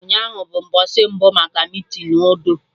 Ụnyaahụ bụ mgbọsị mbụ maka meetinu udo